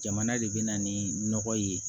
Jamana de bɛna ni nɔgɔ ye